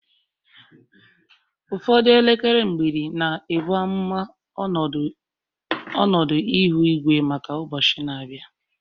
Ụfọdụ elekere mgbidi na-ebu amụma ọnọdụ ihu igwe maka ụbọchị na-abịa